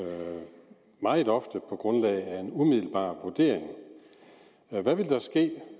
meget ofte sker på grundlag af en umiddelbar vurdering hvad vil der ske